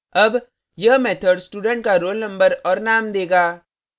अब यह method student का roll number और name देगा